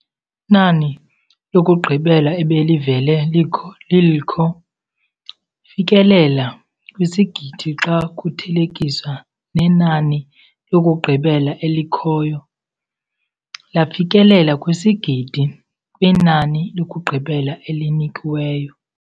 Nani lokugqibela ebelivele lilkho. Fikelela kwisigidi xa kuthelekiswa nenani lokugqibela elikhoyo. Lafikelela kwisigidi kwinani lokugqibela elinikiweyo.